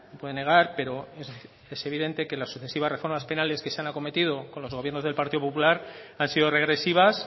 puede negar pero es evidente que las sucesivas reformas penales que se han acometido con los gobiernos del partido popular han sido regresivas